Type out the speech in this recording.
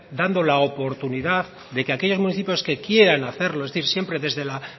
dando la oportunidad de que aquellos municipios que quieran hacerlo es decir siempre desde la